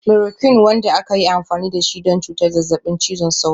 Chloroquine, wanda aka yi amfani da shi don cutar zazzabin cizon sauro.